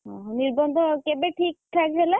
ଓହୋଃ ନିର୍ବନ୍ଧ କେବେ ଠିକ୍ ଠାକ୍ ହେଲା?